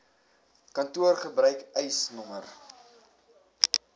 kantoor gebruik eisnr